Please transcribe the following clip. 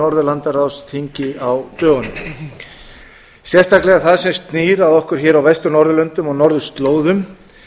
norðurlandaráðsþingi á dögunum sérstaklega það sem snýr að okkur hér á vestur norðurlöndum og norðurslóðum